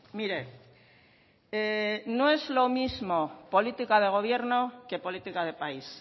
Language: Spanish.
mire no es lo mismo política de gobierno que política de país